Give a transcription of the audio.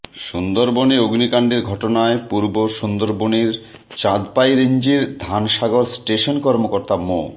সুন্দরবনে অগ্নিকাণ্ডের ঘটনায় পূর্ব সুন্দরবনের চাঁদপাই রেঞ্জের ধানসাগর স্টেশন কর্মকর্তা মো